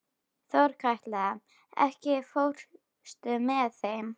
Þorkatla, ekki fórstu með þeim?